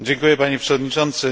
Panie Przewodniczący!